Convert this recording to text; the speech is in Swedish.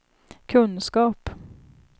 kunskap